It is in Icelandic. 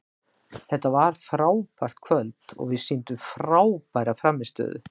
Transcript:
Þetta var frábært kvöld og við sýndum frábæra frammistöðu.